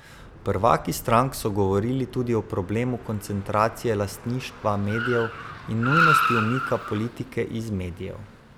Prvaki strank so govorili tudi o problemu koncentracije lastništva medijev in nujnosti umika politike iz medijev.